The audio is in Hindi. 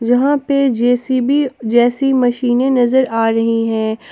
यहां पे जे_सी_बी जैसी मशीनें नजर आ रही हैं।